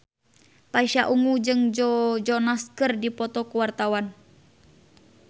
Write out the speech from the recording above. Pasha Ungu jeung Joe Jonas keur dipoto ku wartawan